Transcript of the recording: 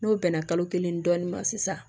N'o bɛnna kalo kelen dɔɔnin ma sisan